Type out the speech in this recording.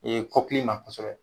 Ee kɔkili ma kosɛbɛ